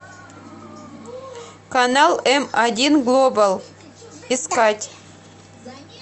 канал м один глобал искать